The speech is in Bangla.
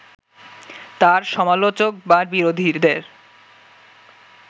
তার সমালোচক বা বিরোধীদের